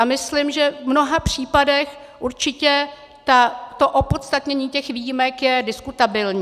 A myslím, že v mnoha případech určitě to opodstatnění těch výjimek je diskutabilní.